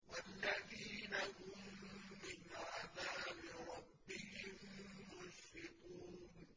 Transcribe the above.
وَالَّذِينَ هُم مِّنْ عَذَابِ رَبِّهِم مُّشْفِقُونَ